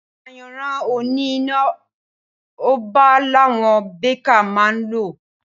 Ayanran òní iná ọba làwọn bẹkà mà ń lò